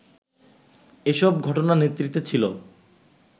এসব ঘটনার নেতৃত্বে ছিল